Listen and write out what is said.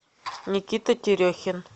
никита терехин